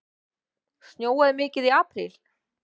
Snjóaði mikið í apríl?